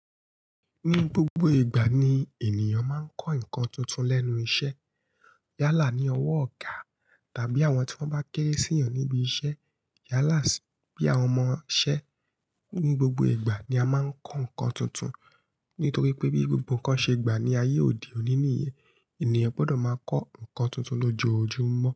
Ní gbogbo ìgbà ni ènìyàn máa ń kọ́ nǹkan tuntun lẹ́nu iṣẹ́. Yálà ní ọwọ́ ọ̀gá tàbí àwọn tí wọ́n bá kéré sí ìyàn níbi iṣẹ́. Yálàs bí àwọn ọmọṣẹ́. Ní gbogbo ìgbà ni a máa ń kọ́ nǹkan tuntun nítorí pé bí gbogbo nǹkan ṣe gbà ní ayé òdí òní níye, ènìyàn gbọ́dọ̀ máa kọ́ nǹkan tuntun lójoojúmọ́